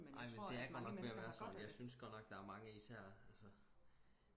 ej men det er godt nok ved at være sådan jeg synes godt nok der er mange især altså